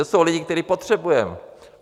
To jsou lidé, které potřebujeme.